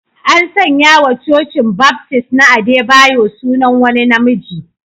An sanya wa Cocin Baptist na Adebayo sunan wani na miji